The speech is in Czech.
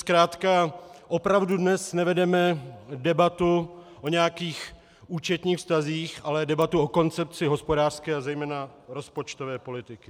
Zkrátka opravdu dnes nevedeme debatu o nějakých účetních vztazích, ale debatu o koncepci hospodářské a zejména rozpočtové politiky.